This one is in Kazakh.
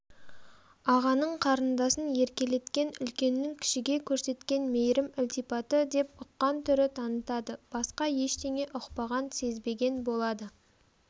ағаның қарындасын еркелеткен үлкеннің кішіге көрсеткен мейірім-ілтипаты деп ұққан түрі танытады басқа ештеңе ұқпаған-сезбеген болады